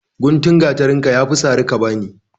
Guntun gatarinka yafi sari ka bani